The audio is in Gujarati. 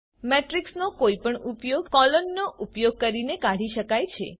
મેટ્રિક્સનો કોઈપણ ઉપગણ કોલોન નો ઉપયોગ કરીને કાઢી શકાય છે